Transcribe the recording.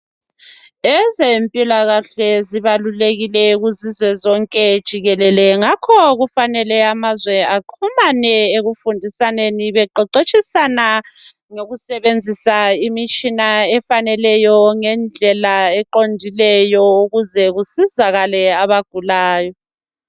Ezempilakahle zibalulekile kuzizwe zonke jikelele ngakho kufanele amazwe bexhumane ekufundisaneni beqeqetshisana ngokusebenzisa imitshina efaneleyo ngendlela eqondileyo ukuze kusizakale abagulayo.